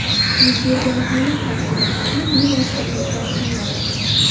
Yuz bergan holat tafsilotlarini bevosita o‘zidan tingladi.